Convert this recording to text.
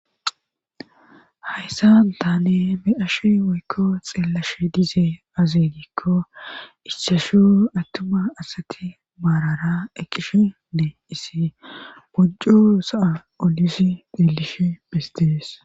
hayssa taane be"ashe woykko xeellash dize azedikko issashu attuma asati maarara eqqishene isi bojjo saa olisi delish bestees